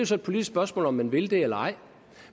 så et politisk spørgsmål om man vil det eller ej